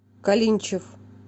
калинчев